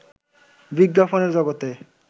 বিজ্ঞাপনের জগতে